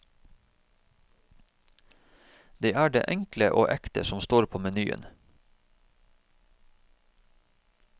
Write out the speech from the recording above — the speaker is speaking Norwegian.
Det er det enkle og ekte som står på menyen.